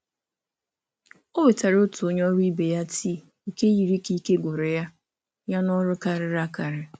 Ọ wetara otu onye ọrụ ibe ya tii nke yiri ka ike gwụrụ ya ya na ọrụ karịrị akarị.